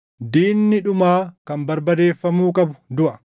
Diinni dhumaa kan barbadeeffamuu qabu duʼa.